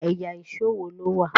ẹyà Èṣó wọ ló wá?